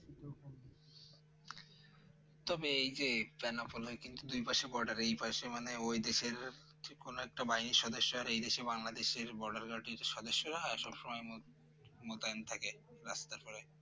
তবে এই যে বেনাপোল এ কিন্তু দুই পাশে Border এই পাশে মানে ওই যে কোন একটা কোন একটা বাহিনী সদস্য এই দেশে বাংলাদেশ এর Border Guard যদি সদস্য হয় সব সময় মুখ মোতায়েন থাকে রাস্তার পারে